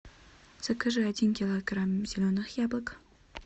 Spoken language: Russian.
закажи один килограмм зеленых яблок